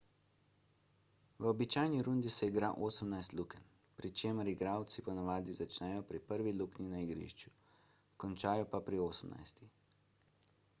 v običajni rundi se igra osemnajst lukenj pri čemer igralci ponavadi začnejo pri prvi luknji na igrišču končajo pa pri osemnajsti